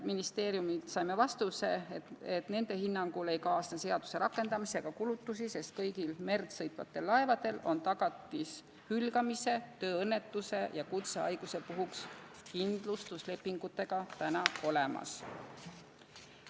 Ministeeriumilt saime vastuse, et nende hinnangul ei kaasne seaduse rakendamisega kulutusi, sest kõigil merd sõitvatel laevadel on tagatis hülgamise, tööõnnetuse ja kutsehaiguse puhuks kindlustuslepingute kujul juba olemas.